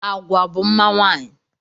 Agwa bụ mma nwaanyị